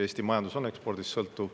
Eesti majandus on ekspordist sõltuv.